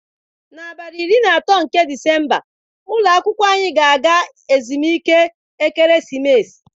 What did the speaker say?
N'abalị iri na atọ nke Disemba ụlọ akwụkwọ anyị ga-aga ezumike ekeresimesi.